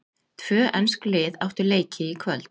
Tvö ensk lið áttu leiki í kvöld.